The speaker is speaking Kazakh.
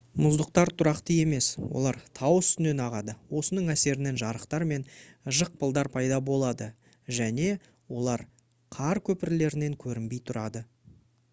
мұздықтар тұрақты емес олар тау үстінен ағады осының әсерінен жарықтар мен жықпылдар пайда болады және олар қар көпірлерінен көрінбей тұрады